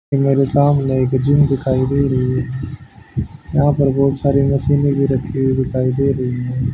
मेरे सामने एक जिम दिखाई दे रही यहां पर बहुत सारी मशीने भी रखी हुई दिखाई दे रही--